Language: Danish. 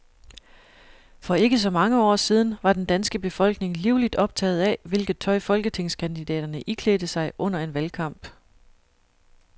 For ikke så mange år siden var den danske befolkning livligt optaget af, hvilket tøj folketingskandidaterne iklædte sig under en valgkamp.